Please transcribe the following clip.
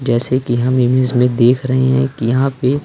जैसे कि हम इमेज में देख रहे हैं कि यहां पे--